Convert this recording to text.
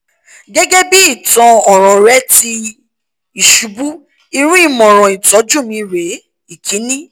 gẹgẹ bi itan ọran rẹ ti isubu irun imọran itọju mi ​​re - ikini